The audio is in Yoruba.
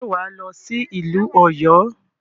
Ṣe wà á lọ sí ìlú Ọ̀yọ́?